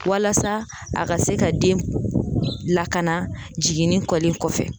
Walasa a ka se ka den lakana jiginni kɛlen kɔfɛ